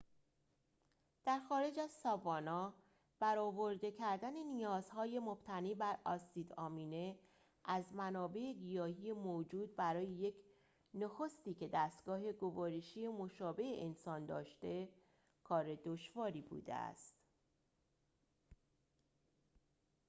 در خارج از ساوانا برآورده کردن نیازهای مبتنی بر اسید آمینه از منابع گیاهی موجود برای یک نخستی که دستگاه گوارشی مشابه انسان داشته کار دشواری بوده است